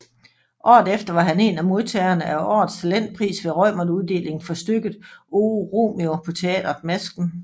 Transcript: Året efter var han en af modtagerne af Årets Talentpris ved Reumertuddelingen for stykket Oh Romeo på Teatret Masken